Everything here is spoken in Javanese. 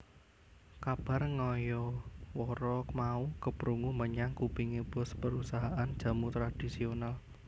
Kabar ngayawara mau keprungu menyang kupinge boss perusahaan jamu tradhisional